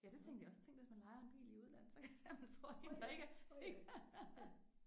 Ja det tænkte jeg også tænk hvis man lejer en bil i udlandet så kan det være man får én der ikke er ikke er